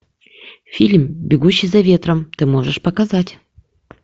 фильм бегущий за ветром ты можешь показать